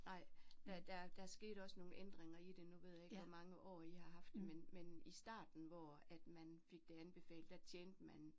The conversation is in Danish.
Nej der der der skete også nogle ændringer i det nu ved jeg ikke hvor mange år I har haft det men men i starten hvor at man fik det anbefalet der tjente man